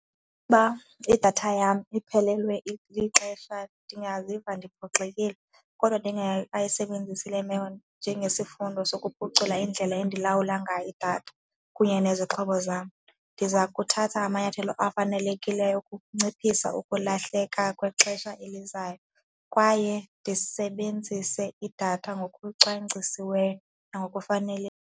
Uba idatha yam iphelelwe lixesha ndingaziva ndiphoxekile kodwa ndingekayisebenzisi le meko njengesifundo sokuphucula indlela endilawula ngayo idatha kunye nezixhobo zam. Ndiza kuthatha amanyathelo afanelekileyo ukunciphisa ukulahleka kwexesha elizayo kwaye ndisebenzise idatha ngokucwangcisiweyo .